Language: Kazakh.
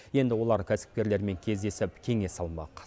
енді олар кәсіпкерлермен кездесіп кеңес алмақ